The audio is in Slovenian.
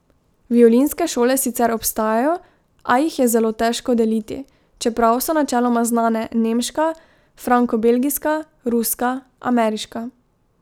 Violinske šole sicer obstajajo, a jih je zelo težko deliti, čeprav so načeloma znane nemška, frankobelgijska, ruska, ameriška.